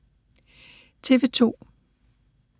TV 2